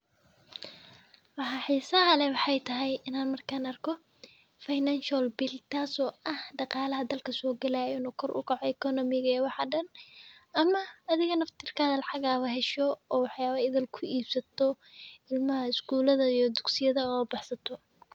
Waxaa xiisaha ley waxay tahay inaan markaan arko financial bill, taaso ah dhaqaalaha dalka soo galaya inuu kor u kaco ekonomiga ee wax dhan, ama adiga naftirkaa lacagaha la hesho oo waxyabo idil ku iibsato ilmaha iskuulada iyo dugsiga oo u bahsato.